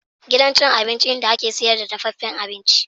Gidan cin abinci inda ake sayar da dafaffen abinci